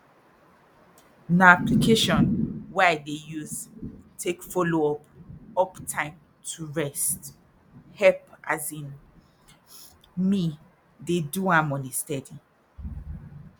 na application wey i dey use take follow up up time to rest help as in me dey do am on a steady